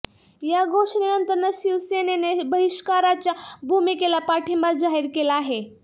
या घोषणेनंतर शिवसेनेने बहिष्काराच्या भूमिकेला पाठिंबा जाहीर केला आहे